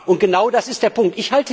Und genau das ist der Punkt.